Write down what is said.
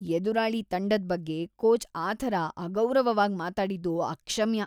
ಎದುರಾಳಿ ತಂಡದ್ ಬಗ್ಗೆ ಕೋಚ್‌ ಆ ಥರ ಅಗೌರವವಾಗ್ ಮಾತಾಡಿದ್ದು ಅಕ್ಷಮ್ಯ.